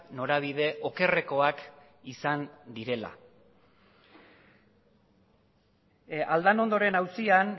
norabide okerrekoak izan direla aldanondoren auzian